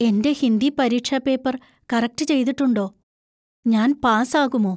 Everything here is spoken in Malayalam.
എന്‍റെ ഹിന്ദി പരീക്ഷാ പേപ്പർ കറക്ട് ചെയ്തിട്ടുണ്ടോ? ഞാൻ പാസ് ആകുമോ?